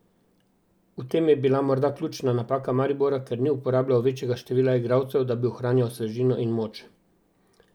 V tem je bila morda ključna napaka Maribora, ker ni uporabljal večjega števila igralcev, da bi ohranjal svežino in moč.